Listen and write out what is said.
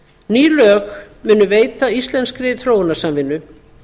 ný lög munu veita íslenskri þróunarsamvinnu